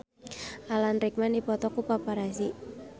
Alan Rickman dipoto ku paparazi